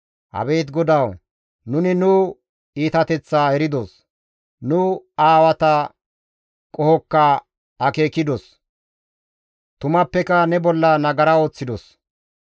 Abeet GODAWU! Nuni nu iitateththaa eridos; Nu aawata qohokka akeekidos; tumappeka ne bolla nagara ooththidos.